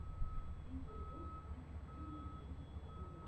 видеоблог фанни фэмили геймс в ютубе